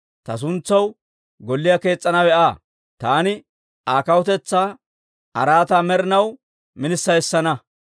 Ta suntsaw golliyaa kees's'anawe Aa; taani Aa kawutetsaa araataa med'inaw minissa essana.